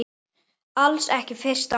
Alls ekki fyrsta mars!